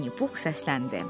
Vinnipux səsləndi.